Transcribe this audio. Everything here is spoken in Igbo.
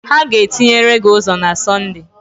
Ha ga-etinyere gị ụzọ na Sọnde